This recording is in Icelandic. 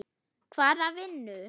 Hvaða vinnu?